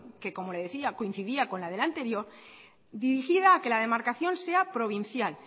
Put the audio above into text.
que como le decía coincidía con la de la anterior dirigida a que la demarcación sea provincial